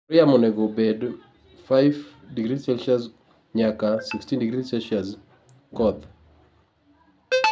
kor yamo onego obed 5°C - 16°C. Koth